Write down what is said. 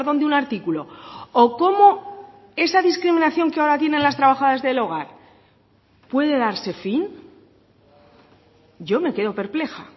de un artículo o cómo esa discriminación que ahora tienen las trabajadoras del hogar puede darse fin yo me quedo perpleja